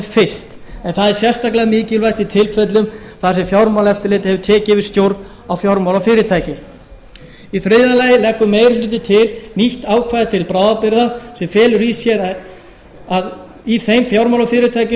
fyrst en það er sérstaklega mikilvægt í tilfellum þar sem fjármálaeftirlitið hefur tekið yfir stjórn á fjármálafyrirtæki í þriðja lagi leggur meiri hlutinn til nýtt ákvæði til bráðabirgða sem felur í sér að í þeim fjármálafyrirtækjum